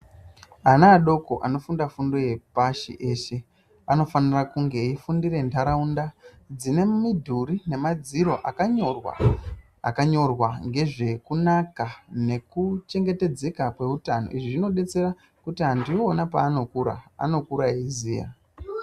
Ana adoko anofuda kundo yepashi eshe anofanira kunge eifundire ntaraunda dzine midhuri ne madziro akanyorwa .Akanyorwa ngezvekunaka nekuchengetedzeka kweutano. Izvi zvinodetsera kuti antu iwona paanokura anokura eiziya.